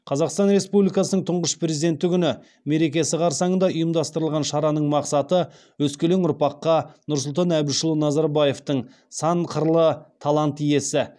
қазақстан республикасының тұңғыш президенті күні мерекесі қарсаңында ұйымдастырылған шараның мақсаты өскелең ұрпаққа нұрсұлтан әбішұлы назарбаевтың сан қырлы талант иесі